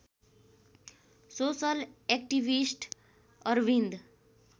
social activist Arvind